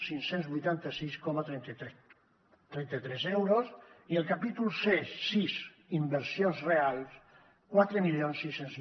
cinc cents i vuitanta sis coma trenta tres euros i el capítol sis inversions reals quatre mil sis cents